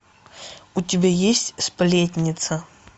у тебя есть сплетница